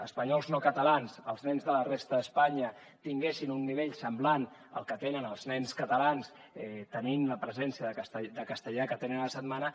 espanyols no catalans els nens de la resta d’espanya tinguessin un nivell semblant al que tenen els nens catalans tenint la presència del castellà que tenen a la setmana